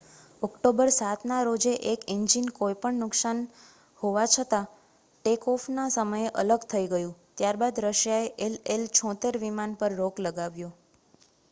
October 7 ના રોજે એક ઈન્જીન કોઈ પણ નુકસાન હોવા છતાં ટેક-ઓફ ના સમયે અલગ થઈ ગયુ ત્યારબાદ રશિયાએ ii-76 વિમાન પર રોક લગાવ્યો